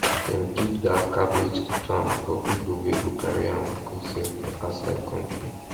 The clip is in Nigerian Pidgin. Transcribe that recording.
dem keep that cabbage farm for people wey go carry am go sell for outside country